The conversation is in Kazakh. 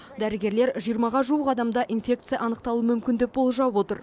дәрігерлер жиырмаға жуық адамда инфекция анықталуы мүмкін деп болжап отыр